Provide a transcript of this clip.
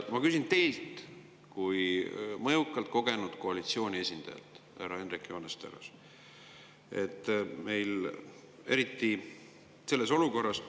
Ma küsin teilt kui mõjukalt ja kogenud koalitsiooniesindajalt, härra Hendrik Johannes Terras.